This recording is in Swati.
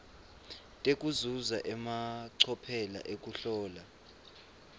tekuzuza emacophelo ekuhlola